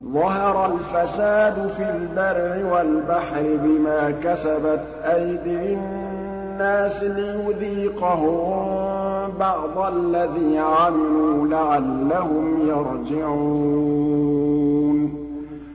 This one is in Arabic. ظَهَرَ الْفَسَادُ فِي الْبَرِّ وَالْبَحْرِ بِمَا كَسَبَتْ أَيْدِي النَّاسِ لِيُذِيقَهُم بَعْضَ الَّذِي عَمِلُوا لَعَلَّهُمْ يَرْجِعُونَ